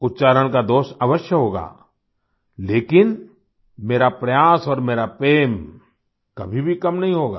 उच्चारण का दोष अवश्य होगा लेकिन मेरा प्रयास और मेरा प्रेम कभी भी कम नहीं होगा